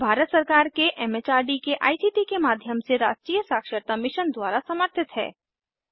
यह भारत सरकार के एम एच आर डी के आई सी टी के माध्यम से राष्ट्रीय साक्षरता मिशन द्वारा समर्थित है